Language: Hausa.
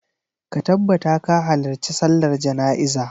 Ka tabbata ka halarci sallar jana'iza!